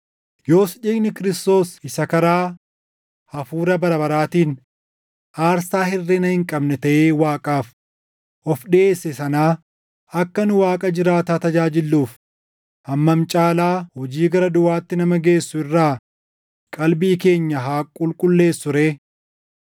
yoos dhiigni Kiristoos isa karaa Hafuura bara baraatiin aarsaa hirʼina hin qabne taʼee Waaqaaf of dhiʼeesse sanaa akka nu Waaqa jiraataa tajaajilluuf hammam caalaa hojii gara duʼaatti nama geessu irraa qalbii keenya haa qulqulleessuu ree!